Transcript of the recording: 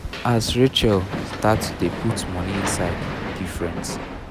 as racheal start to dey put money inside different